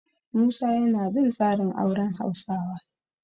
Musa yana bin tsarin auren Hausawa.